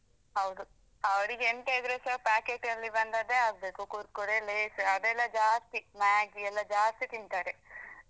ಹೌದು ಅವ್ರಿಗೆ ಎಂತ ಇದ್ರೆಸ packet ಲ್ಲಿ ಬಂದದ್ದೇ ಆಗ್ಬೇಕು Kurkure, Lays ಅದೆಲ್ಲಾ ಜಾಸ್ತಿ Maggi ಎಲ್ಲಾ ಜಾಸ್ತಿ ತಿಂತಾರೆ.